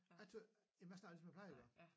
Jeg tror jamen jeg snakkede ligesom jeg plejede at gøre